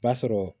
B'a sɔrɔ